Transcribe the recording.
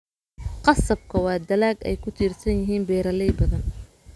Qasabka waa dalag ay ku tiirsan yihiin beeraley badan.